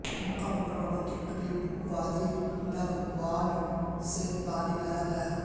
مکہ مکرمہ کے قریب وادی نعمان سے پانی لایا گیا